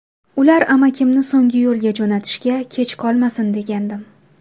Ular amakimni so‘nggi yo‘lga jo‘natishga kech qolmasin degandim.